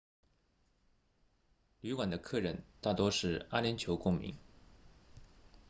旅馆的客人大多是阿联酋公民